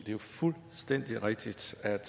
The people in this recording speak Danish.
jo fuldstændig rigtigt at